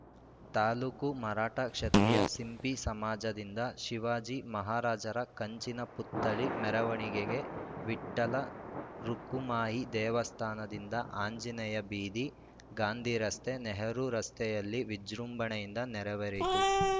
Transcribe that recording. ತಾಲೂಕು ಮರಾಠ ಕ್ಷತ್ರಿಯ ಸಿಂಪಿ ಸಮಾಜದಿಂದ ಶಿವಾಜಿ ಮಹಾರಾಜರ ಕಂಚಿನ ಪುತ್ಥಳಿ ಮೆರವಣಿಗೆ ವಿಠ್ಠಲ ರುಕುಮಾಯಿ ದೇವಸ್ಥಾನದಿಂದ ಆಂಜನೇಯ ಬೀದಿ ಗಾಂಧಿರಸ್ತೆ ನೆಹರೂ ರಸ್ತೆಯಲ್ಲಿ ವಿಜೃಂಭಣೆಯಿಂದ ನೆರವೇರಿತು